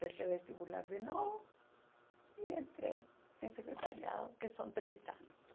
Prestei vestibular de novo e entrei em secretariado, que são três anos.